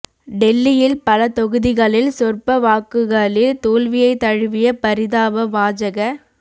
டெல்லியில் பல தொகுதிகளில் சொற்ப வாக்குகளில் தோல்வியை தழுவிய பரிதாப பாஜக